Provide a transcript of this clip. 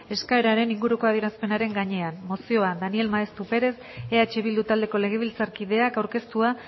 eskaeraren inguruko adierazpenaren gainean mozioa daniel maeztu perez eh bildu taldeko legebiltzarkideak aurkeztua